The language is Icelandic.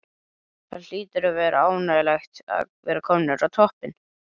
Það hlýtur að vera ánægjulegt að vera komnir á toppinn?